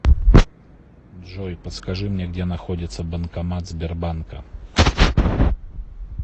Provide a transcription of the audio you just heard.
джой подскажи мне где находится банкомат сбербанка